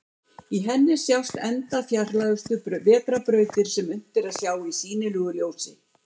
Á henni sjást enda fjarlægustu vetrarbrautir sem unnt er að sjá í sýnilegu ljósi.